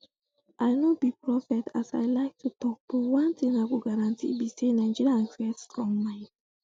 i no be prophet as i like to tok but one thing i go guarantee be say nigerians get strong mind